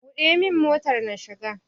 Buɗe min motar na shiga!